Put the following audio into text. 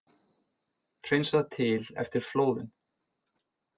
Hreinsað til eftir flóðin